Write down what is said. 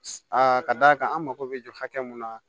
A ka d'a kan an mako bɛ jɔ hakɛ mun na